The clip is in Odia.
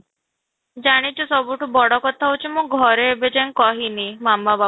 ଜାଣିଛୁ ସବୁଠୁ ବଡ କଥା ହଉଛି ମୁଁ ଘରେ ଏବେ ଯାଏଁ କହିନି ମାମା ବାପା